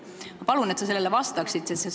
Ma palun, et sa sellele vastaksid!